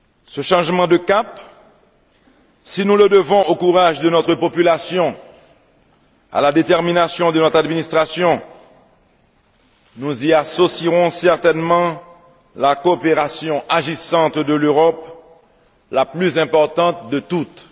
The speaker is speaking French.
Ce changement de cap, si nous le devons au courage de notre population, à la détermination de notre administration, nous y associerons certainement la coopération agissante de l'Europe, la plus importante de toutes.